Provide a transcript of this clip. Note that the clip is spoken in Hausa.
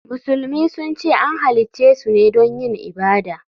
Musulmi sun ce an halicce su ne don yin ibada.